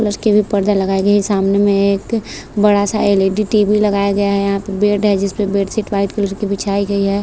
पर्दा लगायी गयी है सामने में एक बड़ा सा L E D T V लगाया गया है यहाँ पे बेड है जिसपे बेडशीट वाइट कलर की बिछाई गयी है।